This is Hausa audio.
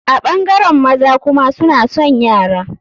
A ɓangaren maza kuma suna son yara.